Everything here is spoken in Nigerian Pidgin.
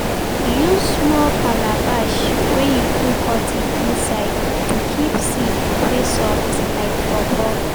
use small calabash wey you put cotton inside to keep seed wey soft like pawpaw.